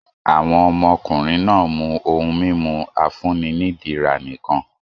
Àwọn ọmọkùnrin náà mú ohun-mímu afúnni-nílera nìkan.